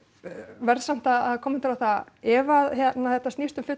verð samt að kommentera á það ef að þetta snýst um